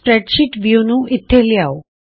spreadsheet view ਨੂੰ ਇਥੇ ਲਿਆਉ